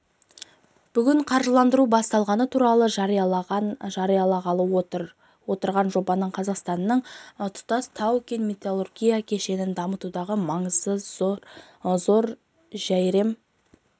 бүгін қаржыландыру басталғаны туралы жариялағалы отырған жобаның қазақстанның тұтас тау-кен металлургия кешенін дамытудағы маңызы зор жәйрем